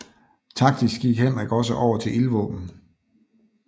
Taktisk gik Henrik også over til ildvåben